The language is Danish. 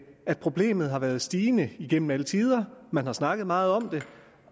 at problemet har været stigende igennem alle tider man har snakket meget om det